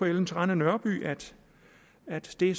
ellen trane nørby at at det